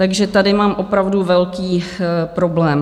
Takže tady mám opravdu velký problém.